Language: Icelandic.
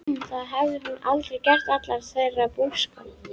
Það hafði hún aldrei gert allan þeirra búskap.